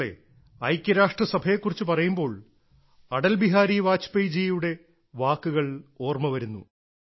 സുഹൃത്തുക്കളേ ഐക്യരാഷ്ട്രസഭയെ കുറിച്ച് പറയുമ്പോൾ അടൽ ബിഹാരി വാജ്പേയ്ജിയുടെ വാക്കുകൾ ഓർമ്മ വരുന്നു